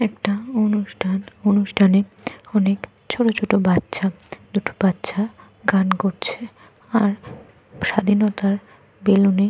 একটা অনুষ্ঠান। অনুষ্ঠানে অনেক ছোট ছোট বাচ্চা। দুটো বাচ্চা গান করছে। আর স্বাধীনতার বেলুনে --